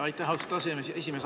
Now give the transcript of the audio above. Aitäh, austatud aseesimees!